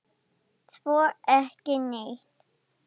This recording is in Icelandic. Svo ekki neitt.